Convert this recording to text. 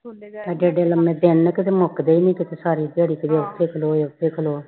ਏਡੇ ਏਡੇ ਲੰਬੇ ਦਿਨ ਕਦੇ ਮੁਕਦੇ ਨੀ ਕੀਤੇ ਸਾਰੀ ਦਿਹਾੜੀ ਕਦੇ ਇਥੇ ਖਲੋ ਕਦੇ ਉਥੇ ਖਲੋ